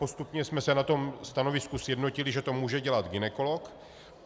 Postupně jsme se na tom stanovisku sjednotili, že to může dělat gynekolog.